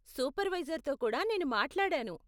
సూపర్వైజర్తో కూడా నేను మాట్లాడాను.